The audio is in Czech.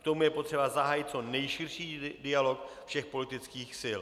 K tomu je potřeba zahájit co nejširší dialog všech politických sil.